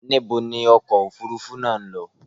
Níbo ni ọkọ òfúrufú náà ń lọ?